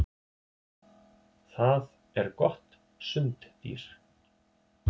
Það er gott sunddýr.